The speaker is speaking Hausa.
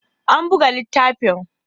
An buga littafin